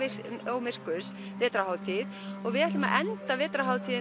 og myrkurs vetrarhátíð og við ætlum að enda vetrarhátíð